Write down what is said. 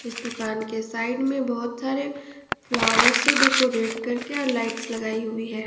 इस दुकान के साइड में बहोत सारे फ्लावर से डेकोरेट करके और लाइट्स लगाई हुई है।